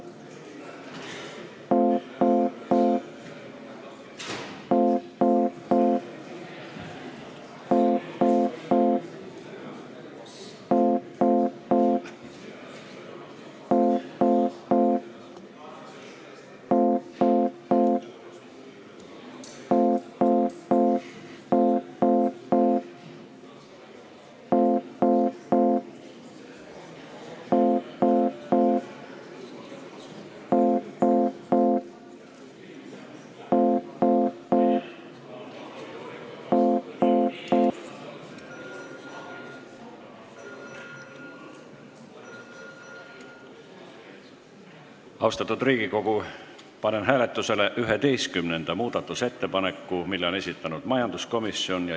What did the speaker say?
Austatud Riigikogu, panen hääletusele 11. muudatusettepaneku, mille on esitanud majanduskomisjon.